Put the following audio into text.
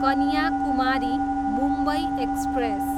Kanyakumari, Mumbai express